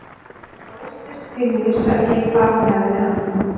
Hún var óstyrk því hún vissi ekki hvar hún hafði hann.